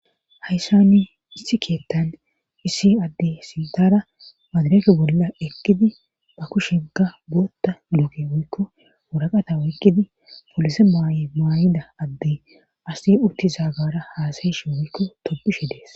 hayssani issi keettan issi adde sintara maadireke bolla ekkidi ba kushenka bootta luuke woykko woraqata woykkidi polise ymaayida adde asi urti zaagara haasayeshe woykko topishe dees